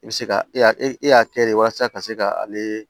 I bɛ se ka e y'a e y'a kɛ de walasa ka se ka ale